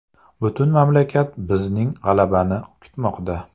Butun mamlakat bizning g‘alabani kutmoqda.